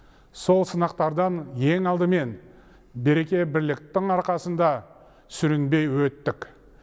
сол сынақтардан ең алдымен береке бірліктің арқасында сүрінбей өттік